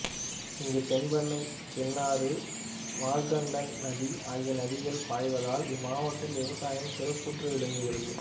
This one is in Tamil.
இங்கு தென்பென்னை சின்னாறு மார்கண்ட நதி ஆகிய நதிகள் பாய்வதால் இம்மாவட்டத்தில் விவசாயம் சிறப்புற்று விளங்குகிறது